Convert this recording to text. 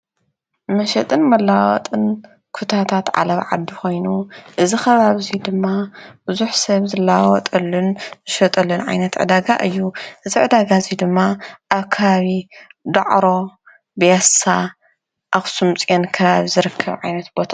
መሸጥን መላዋወጥን ኩታታት ዓለብ ዓዲ ኮይኑ እዚ ከባቢ እዙይ ድማ ብዙሕ ሰብ ዝለዋወጠሉን ዝሸጠሉን ዓይነት ዕዳጋ እዩ። እዚ ዕዳጋ እዙይ ድማ ኣብ ከባቢ ዳዕሮ ፒያሳ ኣኽስም ፅዮን ከባቢ ዝርከብ ዓይነት ቦታ እዩ።